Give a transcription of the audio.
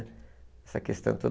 Essa questão toda.